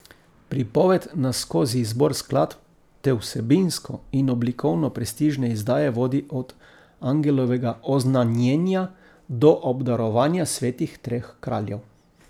Pripoved nas skozi izbor skladb te vsebinsko in oblikovno prestižne izdaje vodi od angelovega oznanjenja do obdarovanja svetih treh kraljev.